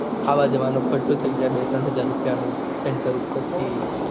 આવાનો જવાનું ખર્ચો થઇ જાય